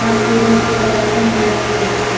वहाँ सीढ़ियों से ऊपर जाके मंदिर में प्रवेश कर --